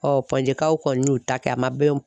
kaw kɔni y'u ta kɛ a ma bɛn